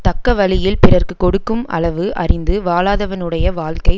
தக்க வழியில் பிறர்க்கு கொடுக்கும் அளவு அறிந்து வாழாதவனுடைய வாழ்க்கை